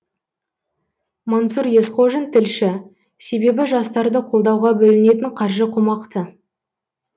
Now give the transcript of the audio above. мансұр есқожин тілші себебі жастарды қолдауға бөлінетін қаржы қомақты